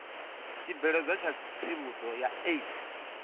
tshibveledzwa tsha tsivhudzo ya aids